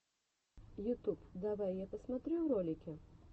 ютуб давай я посмотрю ролики